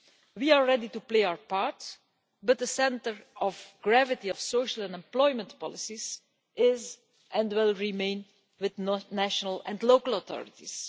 We are ready to play our part, but the centre of gravity of social and employment policies is, and will remain, with national and local authorities.